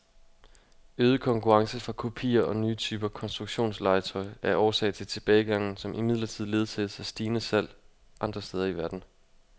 Øget konkurrence fra kopier og nye typer konstruktionslegetøj er årsag til tilbagegangen, som imidlertid ledsages af stigende salg andre steder i verden.